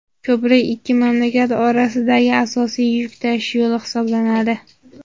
Ko‘prik ikki mamlakat o‘rtasidagi asosiy yuk tashish yo‘li hisoblanadi.